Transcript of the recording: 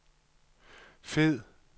fed